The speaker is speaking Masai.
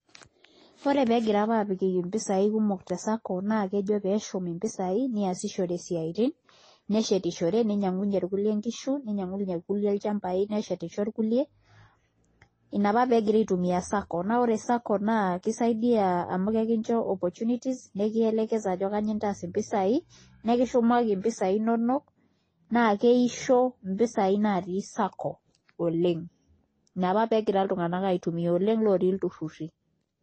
Ore pee egira aapik mpisaai kumok te sacco naa keji pee eshumi mpisaai niasishore isiaitin neshetishore ninyiang'unyie irkulie nkishu ninyiang'unyie irkulie ilchambai neshetisho irkulie ina apa pee egirai aitumia sacco kisaidia amu kincho opportunities nikielekeza ajo kanyioo intaas mpisai nikishumaki mpisai inonok naa keisho mpisaai naatii sacco ina apa pee egira iltunganak aitumia oleng' ootii ilturrurri.